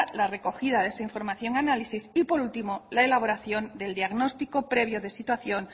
la recogida de esa información análisis y por último la elaboración del diagnóstico previo de situación